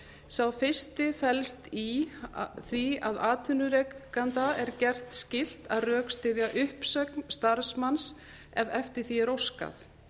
sá fyrsti felst í því að atvinnurekanda er gert skylt að rökstyðja uppsögn starfsmanns ef eftir því er óskað